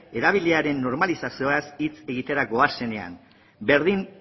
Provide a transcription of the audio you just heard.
erabileraren normalizazioaz hitz egitera goazenean berdin